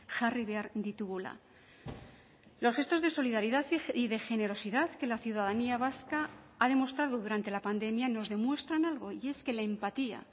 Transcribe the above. jarri behar ditugula los gestos de solidaridad y de generosidad que la ciudadanía vasca ha demostrado durante la pandemia nos demuestran algo y es que la empatía